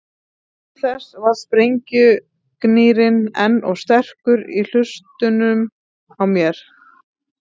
Til þess var sprengjugnýrinn enn of sterkur í hlustunum á mér.